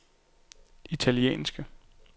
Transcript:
italienske